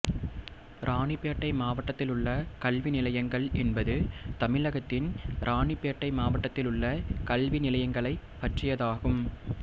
இராணிப்பேட்டை மாவட்டத்திலுள்ள கல்வி நிலையங்கள் என்பது தமிழகத்தின் இராணிப்பேட்டை மாவட்டத்திலுள்ள கல்வி நிலையங்களைப் பற்றியதாகும்